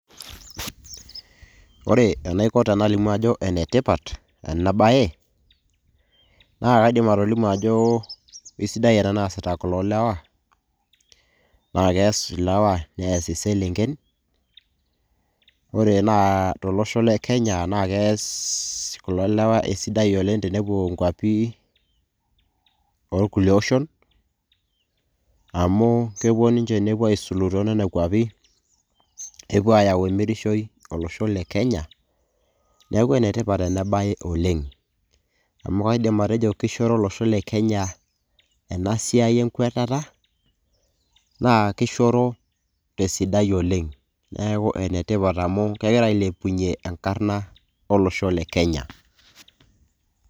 Ore enaiko tenalimu ajo ene tipat ena baye naake aidim atolimu ajo kesidai ena naasita kulo lewa, naake ees ilewa nees iselenken. Ore naa tolosho le Kenya naa kees kulo lewa esidai oleng' tenepuo nkuapi o kulie oshon amu kepuo ninje nepuo aisulu te nekua kuapi nepuo ayau emirishoi olosho le Kenya. Neeku ene tipat ena baye oleng' amu kaidim atejo kishoro olosho le Kenya ena siai enkwetata naa kishoro te sidai oleng'. Neeku ene tipat amu kegira ailepunye enkarna olosho le Kenya.